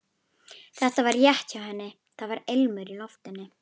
Þetta var rétt hjá henni, það var ilmur í loftinu.